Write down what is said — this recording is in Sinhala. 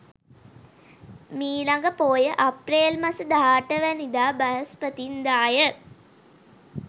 මීළඟ පෝය අප්‍රේල් මස 18 වැනිදා බ්‍රහස්පතින්දා ය.